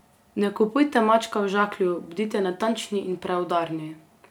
Ne kupujte mačka v žaklju, bodite natančni in preudarni.